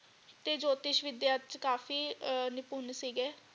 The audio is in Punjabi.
ਤੇ ਜੋਤਿਸ਼ ਵਿਦਿਆ ਚੇ ਕਾਫੀ ਨਿਪੁਨ ਸੀਗੇ।